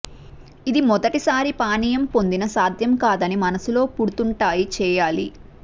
ఇది మొదటిసారి పానీయం పొందిన సాధ్యం కాదని మనస్సులో పుడుతుంటాయి చేయాలి